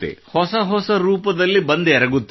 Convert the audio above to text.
ಹೊಸ ಹೊಸ ರೂಪದಲ್ಲಿ ಬಂದೆರಗುತ್ತದೆ